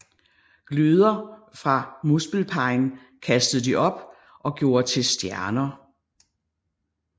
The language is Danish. Gløder fra Muspelheim kastede de op og gjorde til stjerner